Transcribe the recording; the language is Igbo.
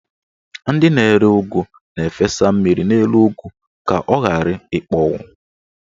Ndị na-ere ụgụ na-efesa mmiri n'elu ụgụ ka ọ ghara ịkpọnwụ.